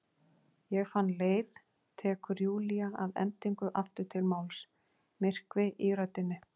Ég fann leið, tekur Júlía að endingu aftur til máls, myrkvi í röddinni.